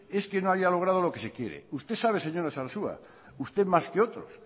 es que no haya logrado lo que se quiere usted sabe señora sarasua usted más que otros